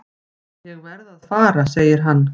Ég verð að fara segir hann.